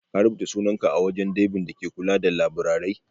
Ka rubuta sunanka a wajen daibin da ke kula da laburare?